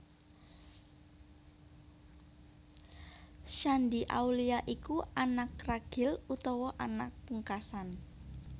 Shandy Aulia iku anak ragil utawa anak pungkasan